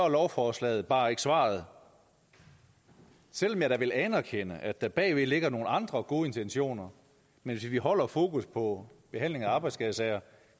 lovforslaget bare ikke svaret selv om jeg da vil anerkende at der bagved ligger nogle andre gode intentioner men hvis vi holder fokus på behandling af arbejdsskadesager